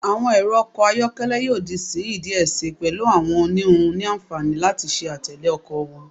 Awọn ẹrọ ọkọ ayọkẹlẹ yoo di sihin diẹ sii, pẹlu awọn oniwun ni anfani lati ṣe atẹle ọkọ wọn